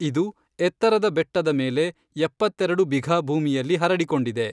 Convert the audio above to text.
ಇದು ಎತ್ತರದ ಬೆಟ್ಟದ ಮೇಲೆ ಎಪ್ಪತ್ತೆರೆಡು ಬಿಘಾ ಭೂಮಿಯಲ್ಲಿ ಹರಡಿಕೊಂಡಿದೆ.